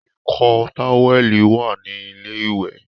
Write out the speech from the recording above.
ìkọ́ táwẹ́ẹ̀lì wà ní ilé wẹ̀